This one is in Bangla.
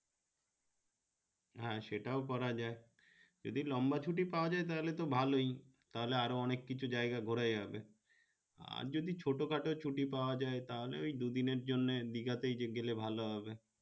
হ্যাঁ সেটাও করা যায় যদি লম্বা ছুটি পাওয়া যায় তাহলে তো ভালো তাহলে আরো অনেক কিছু জায়গা ঘুরা যাবে আর যদি ছোট খাটো ছুটি পাওয়া যায় তাহলে ঐ দু দিনের জন্য দীঘাতে গেলে ভালো হবে